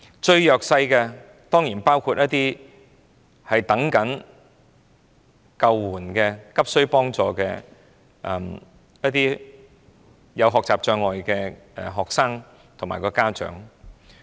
最弱勢的當然還包括一些急需幫助、有學習障礙的學生及其家長。